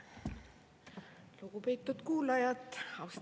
Lugupeetud kuulajad!